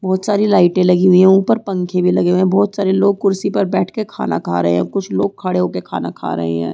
बहोत सारी लाइटे लगी हुई है ऊपर पंखे भी लगे हुए है बहोत सारे लोग कुर्सी पे बैठ कर खाना खा रहे है कुछ लोग खड़े होकर खाना खा रहे है।